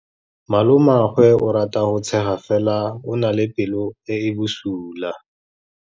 Malomagwe o rata go tshega fela o na le pelo e e bosula.